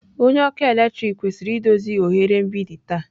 Onye ọkụ eletrik kwesịrị idozi oghere mgbidi taa.